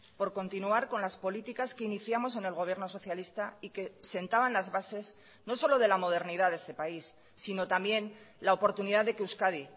por continuar con las políticas que iniciamos en el gobierno socialista y que sentaban las bases no solo de la modernidad de este país sino también la oportunidad de que euskadi